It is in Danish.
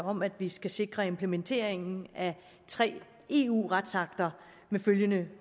om at vi skal sikre implementeringen af tre eu retsakter med følgende